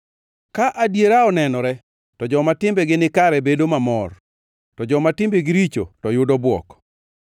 Ka adiera onenore, to joma timbegi nikare bedo mamor to joma timbegi richo to yudo bwok.